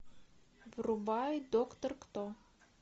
врубай доктор кто